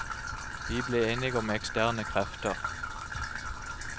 Vi ble enige om eksterne krefter.